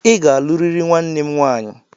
I ga-alụrịrị nwanne m nwaanyị!